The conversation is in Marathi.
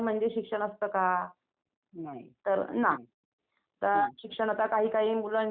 हुं हुं तर यात्रेमध्ये असं प्रत्येक ठिकानावरून लोकं येतात का?